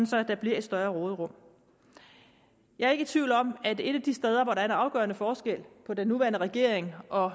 så der bliver et større råderum jeg er ikke i tvivl om at et af de steder hvor der er en afgørende forskel på den nuværende regering og